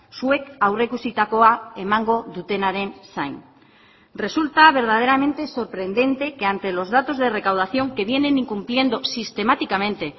zuek aurreikusitakoa emango dutenaren zain resulta verdaderamente sorprendente que ante los datos de recaudación que vienen incumpliendo sistemáticamente